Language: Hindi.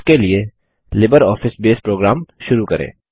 इसके लिए लिबरऑफिस बेस प्रोग्राम शुरू करें